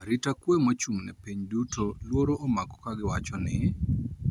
Arita kwe mochung` ne piny duto luoro omako ka giwacho ni